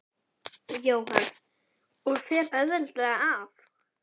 Jóhann: Og fer auðveldlega af?